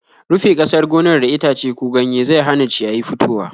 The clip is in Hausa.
Rufe ƙasan gonar da itace ko ganyaye zau hana ciyayi fitowa.